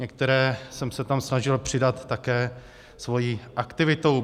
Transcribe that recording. Některé jsem se tam snažil přidat také svou aktivitou.